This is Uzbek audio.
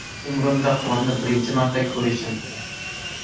Umrimda qorni birinchi marta ko‘rishim”.